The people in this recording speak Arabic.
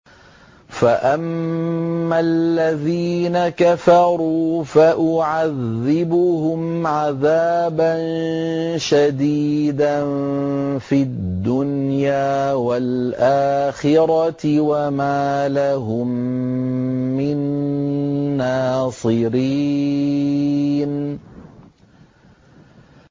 فَأَمَّا الَّذِينَ كَفَرُوا فَأُعَذِّبُهُمْ عَذَابًا شَدِيدًا فِي الدُّنْيَا وَالْآخِرَةِ وَمَا لَهُم مِّن نَّاصِرِينَ